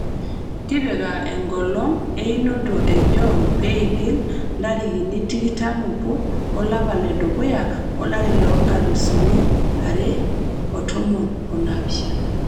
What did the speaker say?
tipika enkolong einoto e John peigil ntarikini tikitam obo olapa le dukuya ,olari le nkalusuni are o tomon o naapishana